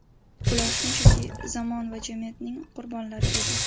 Ular shunchaki zamon va jamiyatning qurbonlari edi.